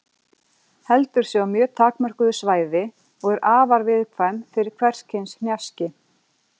Heldur sig á mjög takmörkuðu svæði og er afar viðkvæm fyrir hvers kyns raski.